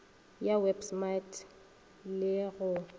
ya web smart re go